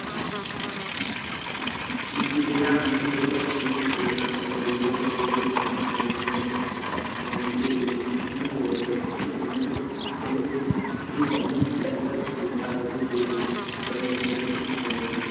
নিয়ে কি করলা? আমরা যেকটা ছিলাম আমরা বন্ধুকটা যেকটা ছিলাম ওই বন্ধুগুলো সব manage করে দিলাম। কিন্তু অত তো আমরাতো সেরকম কিছু জানি না কিরাম ভাবে কি দিতে হয় না হয় দিয়ে দিলাম মানে অসুবিধা তখন হলো।